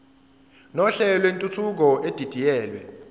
nohlelo lwentuthuko edidiyelwe